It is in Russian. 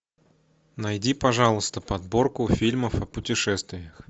найди пожалуйста подборку фильмов о путешествиях